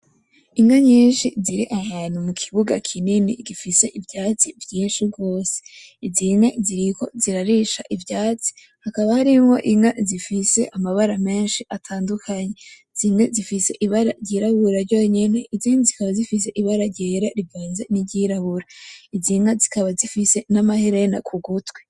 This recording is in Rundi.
Inka nyinshi ziri ahantu mu kibuga kinini gifise ivyatsi vyinshi gose, zine ziriko zirarisha ivyatsi, hakaba harimwo inka zifise amabara menshi atandukanye. Zimwe zifise ibara ry'irabura ryonyene, izindi zikaba zifise ibara ryera rivanze n'iry'irabura. Izi nka zikaba zifise n'amaherena ku gutwi.